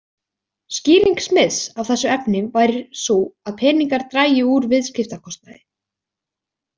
Skýring Smiths á þessu efni væri sú að peningar drægju úr viðskiptakostnaði.